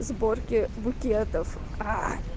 сборки букетов аа